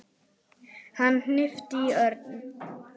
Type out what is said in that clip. Hann hnippti í Örn.